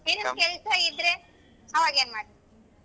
ನಿನಗ್ ಕೆಲ್ಸ ಇದ್ರೆ ಅವಾಗ ಏನ್ ಮಾಡ್ತಿ.